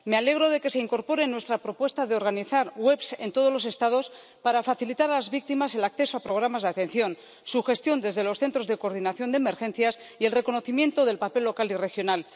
Me alegro de que se incorpore nuestra propuesta de organizar webs en todos los Estados para facilitar a las víctimas el acceso a programas de atención, su gestión desde los centros de coordinación de emergencias y el reconocimiento del papel local y regional.